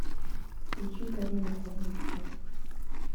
включи карину хвойницкую